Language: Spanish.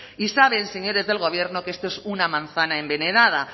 y saben señores del gobierno que esto es una manzana envenenada